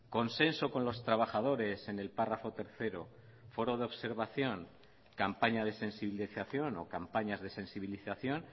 consenso con los trabajadores en el párrafo tercero foro de observación campaña de sensibilización o campañas de sensibilización